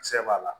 Kisɛ b'a la